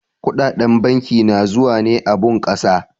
Kuɗaɗen banki na zuwa ne a bunkasa.